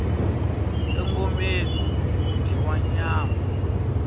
engomeni ku dyiwa nyama